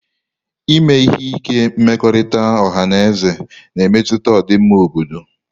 Ime ihe ike mmekọrịta ọha na eze na-emetụta ọdịmma obodo